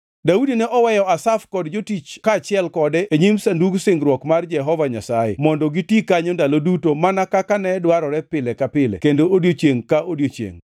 Daudi ne oweyo Asaf kod jotich kaachiel kode e nyim Sandug Singruok mar Jehova Nyasaye mondo giti kanyo ndalo duto mana kaka ne dwarore pile ka pile kendo odiechiengʼ ka odiechiengʼ.